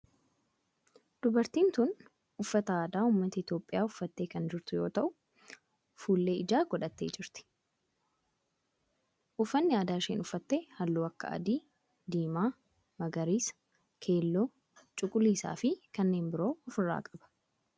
Dubartiin tun uffata aadaa ummata Itiyoophiyaa uffattee kan jirtu yoo ta'u fuullee ijaa godhattee jirti. Uffanni aadaa isheen uffatte halluu akka adii, diimaa, magariisa, keelloo cuquliisaa fi kanneen biroo of irraa qaba.